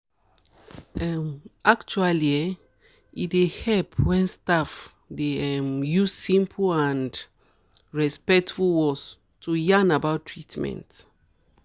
actually um e dey help wen staff dey um use simple and um respectful words to yarn about treatments